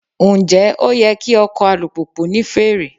Ǹjẹ́ ó yẹ kí ọkọ̀ alùpùpù ní fèrè?